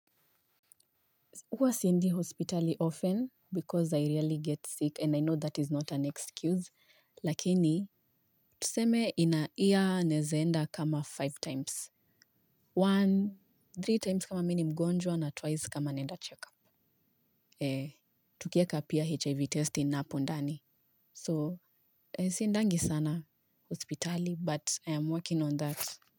Huwa siingi hospitali often because I rarely get sick and I know that is not an excuse. Lakini, tuseme in a year naeza enda kama five times. One, three times kama mimi ni mgonjwa na twice kama naenda check-up. Tukieka pia HIV testing hapo ndani. So, siendangi sana hospitali but I am working on that.